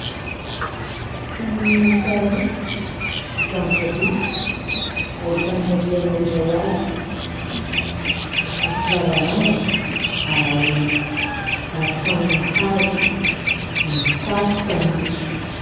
Trano mihisa roa, vita amin'ny biriky, ahitana rihana iray avy, misy lavarangana, arahina arofanina hazo, ny tafo fanitso.